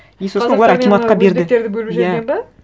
и сосын олар акиматқа берді өзбектерді бөліп жіберген бе